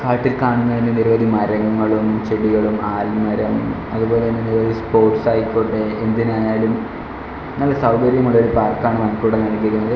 കാണുന്നന്നെ നിരവധി മരങ്ങളും ചെടികളും ആൽമരം അതുപോലെതന്നെ നിരവധി സ്പോർട്സ് ആയിക്കോട്ടെ എന്തിനായാലും നല്ല സൗകര്യമുള്ള ഒരു പാർക്കാണ് നമുക്ക് ഇവിടെ നൽകിയിരിക്കുന്നത്.